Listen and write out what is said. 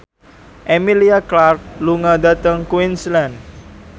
Emilia Clarke lunga dhateng Queensland